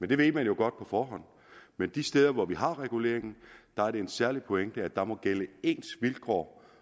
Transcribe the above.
det ved man jo godt på forhånd men de steder hvor vi har reguleringen er det en særlig pointe at der må gælde ens vilkår